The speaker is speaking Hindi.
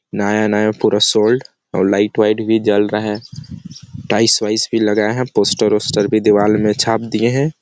नया-नया पूरा सोल्ड और लाइट वाइट भी जल रहा है टाइल्स वाइल्स भी लगा है पोस्टर वोस्टर भी दिवाल में छाप दिये हैं ।